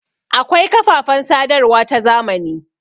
Akwai kafafen sadarwa ta zamani.